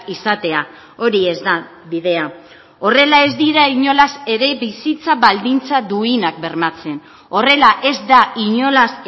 izatea hori ez da bidea horrela ez dira inolaz ere bizitza baldintza duinak bermatzen horrela ez da inolaz